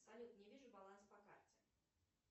салют не вижу баланс по карте